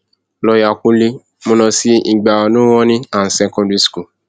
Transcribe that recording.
lọọọyà kúnlẹ mo lọ sí ìgbà nurony and secondary school